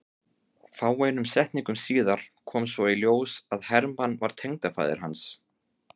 Fáeinum setningum síðar kom svo í ljós að Hermann var tengdafaðir hans.